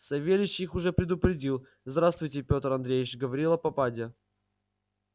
савельич их уже предупредил здравствуйте пётр андреич говорила попадья